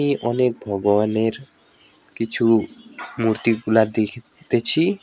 অনেক ভগবানের কিছু মূর্তিগুলা দেখিতেছি।